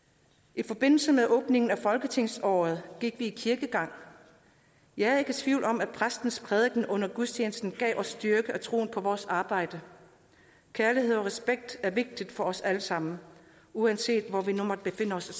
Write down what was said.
i forbindelse med åbningen af folketingsåret gik vi i kirke jeg er ikke i tvivl om at præstens prædiken under gudstjenesten gav os styrke og troen på vores arbejde kærlighed og respekt er vigtigt for os alle sammen uanset hvor vi nu måtte befinde os